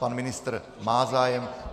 Pan ministr má zájem.